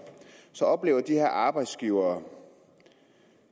så oplever de her arbejdsgivere